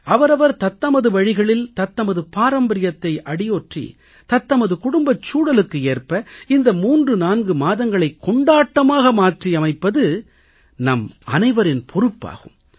அவரவர் தத்தமது வழிகளில் தத்தமது பாரம்பரியத்தை அடியொற்றி தத்தமது குடும்பச் சூழலுக்கு ஏற்ப இந்த 34 மாதங்களைக் கொண்டாட்டமாக மாற்றியமைப்பது நம் அனைவரின் பொறுப்பாகும்